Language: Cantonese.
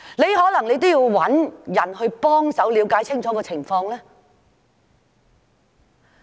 他可能也需要找人幫忙了解情況，對嗎？